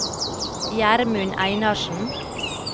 Gjermund Einarsen